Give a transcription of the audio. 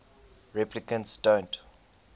replicants don't